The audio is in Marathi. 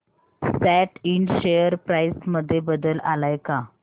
सॅट इंड शेअर प्राइस मध्ये बदल आलाय का